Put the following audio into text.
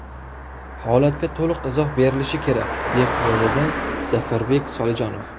Holatga to‘liq izoh berilishi kerak”, deb yozadi Zafarbek Solijonov.